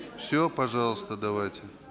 все пожалуйста давайте